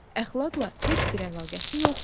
Əxlaqla heç bir əlaqəsi yoxdur.